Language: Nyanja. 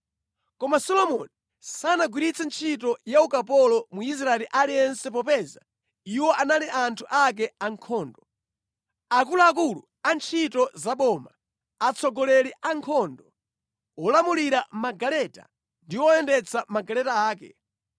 Koma Solomoni sanagwiritse ntchito ya ukapolo Mwisraeli aliyense; iwo anali anthu ake ankhondo, nduna zake, atsogoleri a ankhondo, akapitawo ake, olamulira magaleta ndi oyendetsa magaleta ake.